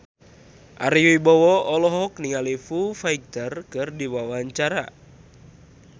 Ari Wibowo olohok ningali Foo Fighter keur diwawancara